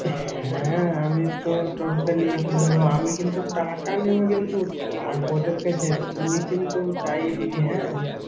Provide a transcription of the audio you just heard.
হ্যাঁ, আমি তো টোট~ টা নিয়ে চলে যাবো। আমি কিন্তু, টাকা নেব কিন্তু আর ওদের থেকে তুই কিন্তু চাইয়ে দিবি, হ্যাঁ!